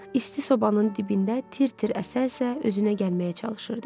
İsti sobanın dibində tir-tir əsə-əsə özünə gəlməyə çalışırdı.